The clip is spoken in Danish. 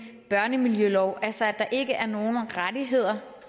børnemiljølov altså at der ikke er nogen rettigheder